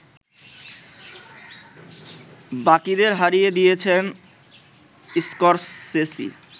বাকিদের হারিয়ে দিয়েছেন স্করসেসি